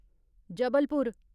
Jabalpur